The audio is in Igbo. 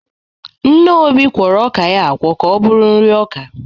Nne Obi kwọrọ ọka ya akwọ ka ọ bụrụ nri ọka.